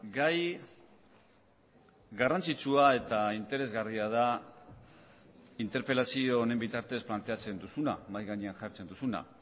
gai garrantzitsua eta interesgarria da interpelazio honen bitartez planteatzen duzuna mahai gainean jartzen duzuna